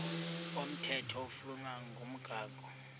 komthetho oflunwa ngumgago